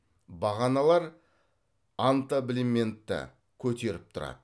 бағаналар антаблементті көтеріп тұрады